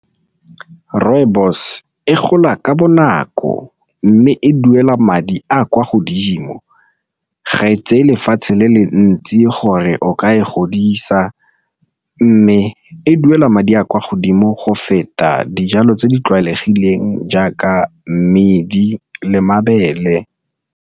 Rooibos e gola ka bonako mme e duela madi a kwa godimo, ga e tseye lefatshe le le ntsi gore o ka e godisa, mme e duela madi a kwa godimo go feta dijalo tse di tlwaelegileng jaaka mmidi le mabele.